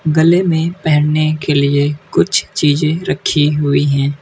गले में पहनने के लिए कुछ चीजे रखी हुई है।